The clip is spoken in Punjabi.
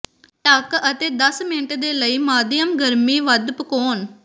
ਢਕ ਅਤੇ ਦਸ ਮਿੰਟ ਦੇ ਲਈ ਮਾਧਿਅਮ ਗਰਮੀ ਵੱਧ ਪਕਾਉਣ